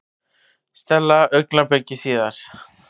Stella augnabliki síðar.